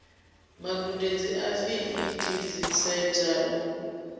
magudedzi a fet dziseta u